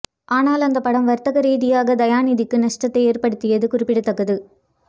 ஆனால் அந்தப் படம் வர்த்தக ரீதியாக தயாநிதிக்கு நஷ்டத்தை ஏர்படுத்தியது குறிப்பிடத்தக்கது